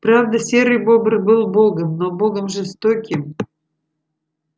правда серый бобр был богом но богом жестоким